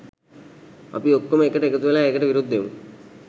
අපි ඔක්කොම එකට එකතුවෙලා ඒකට විරුද්ධ වෙමු.